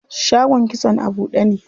Shagon kitson a buɗe ne.